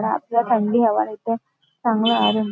रातला थंडी हवा येते चांगला आरम--